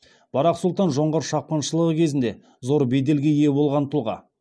барақ сұлтан жоңғар шапқыншылығы кезінде зор беделге ие болған тұлға